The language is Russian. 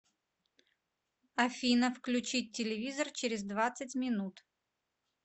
афина включить телевизор через двадцать минут